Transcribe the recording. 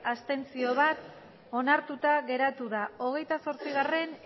abstentzioak bat onartuta geratu da hogeita zortzigarrena